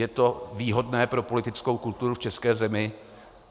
Je to výhodné pro politickou kulturu v české zemi?